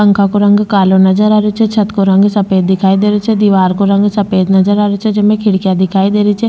पंखा को रंग कालो नजर आ रहियो छे छत को रंग सफ़ेद दिखाई दे रहियो छे दिवार को रंग सफ़ेद नजर आ रहियो छे जेमे खिड़किया दिखाई दे रही छे।